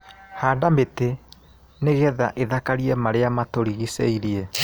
Handa mĩtĩ nĩgetha ĩthakarie marĩa matũrigicĩirie.